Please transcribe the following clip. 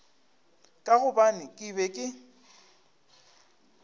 ka gobane ke be ke